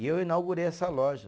E eu inaugurei essa loja.